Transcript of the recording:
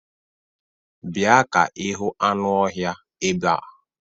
Bịa ka ịhụ anụ ọhịa ebea!